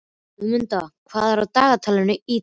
Guðmunda, hvað er á dagatalinu í dag?